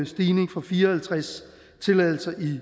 stigning fra fire og halvtreds tilladelser i